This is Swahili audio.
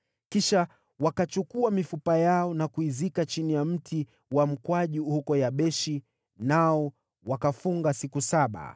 Kisha wakachukua mifupa yao na kuizika chini ya mti wa mkwaju huko Yabeshi, nao wakafunga siku saba.